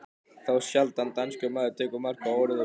Þá sjaldan danskur maður tekur mark á orðum